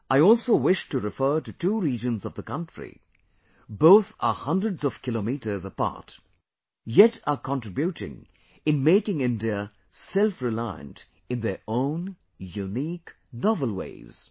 I also wish to refer to two regions of the country both are hundreds of kilometers apart; yet are contributing in making India self reliant in their own unique, novel ways